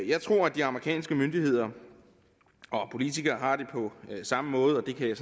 jeg tror at de amerikanske myndigheder og politikere har det på samme måde og det kan jeg